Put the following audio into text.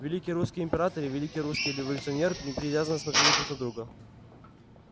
великий русский император и великий русский революционер неприязненно смотрели друг на друга